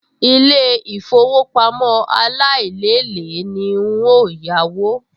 Ilé-ìfowópamọ́ aláìlélèé ni n óò yáwó